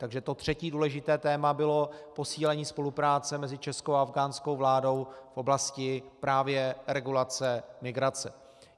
Takže to třetí důležité téma bylo posílení spolupráce mezi českou a afghánskou vládou v oblasti právě regulace migrace.